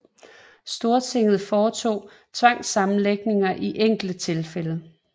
Stortinget foretog tvangssammenlægninger i enkelte tilfælde